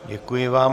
Děkuji vám.